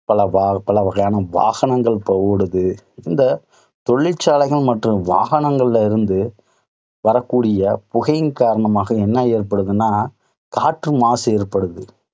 பல வா~பல வகையான வாகனங்கள் இப்போ ஓடுது. இந்த தொழிற்சாலைகள் மற்றும் வாகனங்களில் இருந்து வரக்கூடிய புகையின் காரணமாக என்ன ஏற்படுத்துன்னா, காற்று மாசு ஏற்படுது.